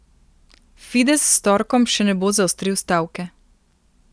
Fides s torkom še ne bo zaostril stavke.